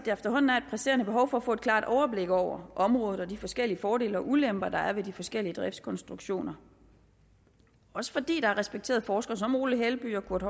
efterhånden er et presserende behov for at få et klart overblik over området og de forskellige fordele og ulemper der er ved de forskellige driftskonstruktioner også fordi der er respekterede forskere som ole helby og kurt